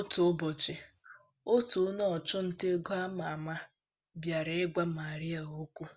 Otu ụbọchị, otu onye ọchụ nta ego ámá ámá bịara ịgwa Maria okwu.